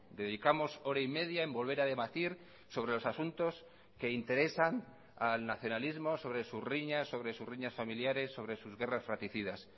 dedicamos hora y media en volver a debatir sobre los asuntos que interesan al nacionalismo sobre sus riñas sobre sus riñas familiares sobre sus guerras fraticidas